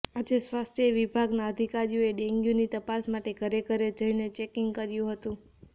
આજે સ્વાસ્થ્ય વિભાગના અધિકારીઓએ ડેન્ગ્યૂની તપાસ માટે ઘરેઘરે જઈને ચેકિંગ કર્યુ હતું